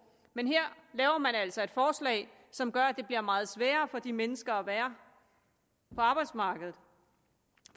men her laver man altså et forslag som gør at det bliver meget sværere for de mennesker at være på arbejdsmarkedet